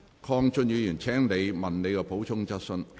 鄺俊宇議員，請提出你的補充質詢。